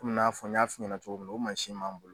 Komi n'a fɔ n y'a fɔ i ɲɛna cogo min na o mansin m'an bolo.